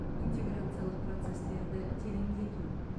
интеграциялық процестерді тереңдету